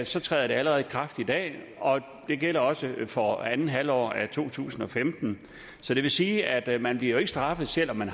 så træder det allerede i kraft i dag og det gælder også for andet halvår af to tusind og femten så det vil sige at man bliver straffet selv om man